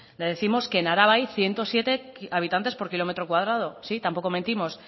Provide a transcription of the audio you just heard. les décimos que en araba hay ciento siete habitantes por kilómetro cuadrado sí tampoco mentimos